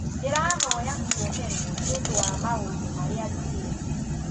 Ndĩrahoya kũoherwo nĩũndũwa maũndũmarĩa njugĩte